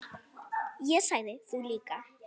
En ég sagði: Þú líka.